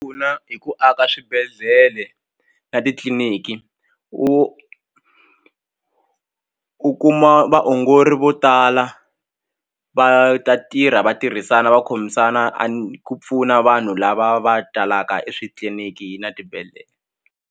hi ku aka swibedhlele na titliliniki u u kuma vaongori vo tala va ta tirha va tirhisana va khomisana a ku pfuna vanhu lava va talaka e swi titliniki na .